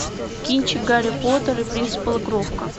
кинчик гарри поттер и принц полукровка